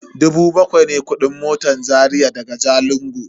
Dubu bakwai ne kudin motan Zaria daga Jalingo.